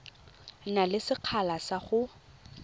na le sekgala sa go